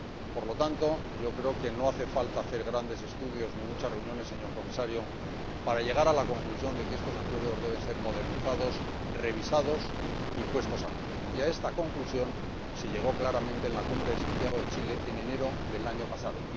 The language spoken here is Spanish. Por lo tanto, yo creo que no hace falta hacer grandes estudios ni muchas reuniones, señor Comisario, para llegar a la conclusión de que estos acuerdos deben ser modernizados, revisados y puestos al día. Y a esta conclusión se llegó, claramente, en la Cumbre de Santiago de Chile en enero del año pasado